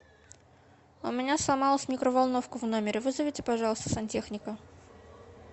у меня сломалась микроволновка в номере вызовите пожалуйста сантехника